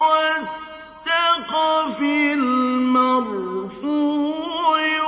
وَالسَّقْفِ الْمَرْفُوعِ